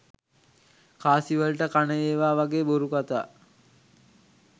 කාසි වලට කන ඒවා වගේ බොරු කතා.